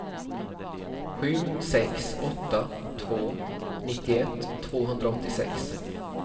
sju sex åtta två nittioett tvåhundraåttiosex